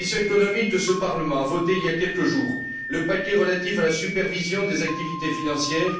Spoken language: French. La commission économique de ce Parlement a voté, il y a quelques jours, le paquet relatif à la supervision des activités financières.